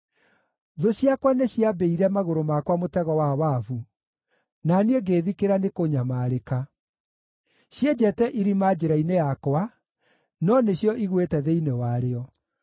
Thũ ciakwa nĩciambĩire magũrũ makwa mũtego wa wabu, na niĩ ngĩĩthikĩra nĩ kũnyamarĩka. Cienjete irima njĩra-inĩ yakwa, no nĩcio igũĩte thĩinĩ warĩo.